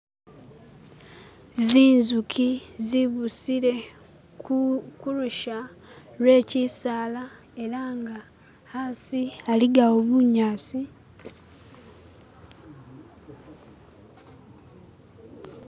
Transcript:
zinzuki zibusile kulusha lwe kyisaala elanga hasi haligawo bunyasi